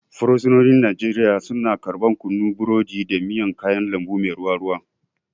Fursunoni a Najeriya suna karɓar kunu, burodi, da miyan kayan lambu mai ruwa ruwa.